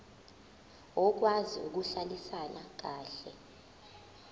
okwazi ukuhlalisana kahle